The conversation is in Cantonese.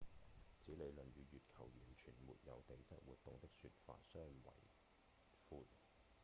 此理論與月球完全沒有地質活動的說法相違悖